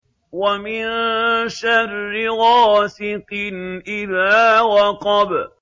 وَمِن شَرِّ غَاسِقٍ إِذَا وَقَبَ